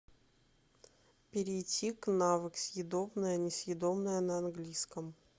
перейти к навык съедобное несъедобное на английском